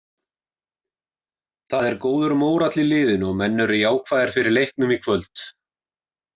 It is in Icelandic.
Það er góður mórall í liðinu og menn eru jákvæðir fyrir leiknum í kvöld.